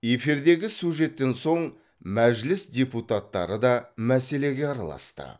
эфирдегі сюжеттен соң мәжіліс депуттары да мәселеге араласты